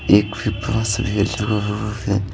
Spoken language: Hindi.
एक फिकास भेज रहा है ।